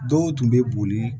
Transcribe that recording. Dɔw tun bɛ boli